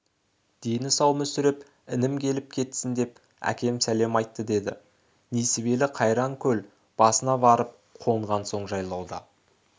дені сау мүсіреп інім келіп кетсін деп әкем сәлем айтты деді несібелі қайраң көл басына барып қонған соң жайлауда